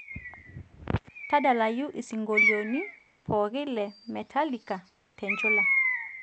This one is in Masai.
tadalayu isingolioni pooki le metallica te nchula